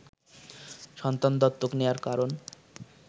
সন্তান দত্তক নেয়ার কারণ